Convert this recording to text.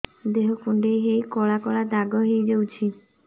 ଦେହ କୁଣ୍ଡେଇ ହେଇ କଳା କଳା ଦାଗ ହେଇଯାଉଛି